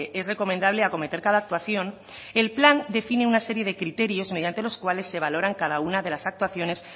es recomendable acometer cada actuación el plan define una serie de criterios mediantes los cuales se valoran cada una de las actuaciones